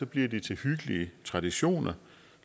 bliver de til hyggelige traditioner